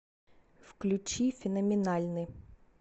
включи феноменальны